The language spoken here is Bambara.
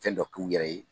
Fɛn dɔ k'u yɛrɛ ye